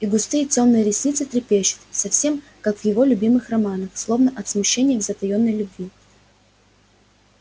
и густые тёмные ресницы трепещут совсем как в его любимых романах словно от смущения и затаённой любви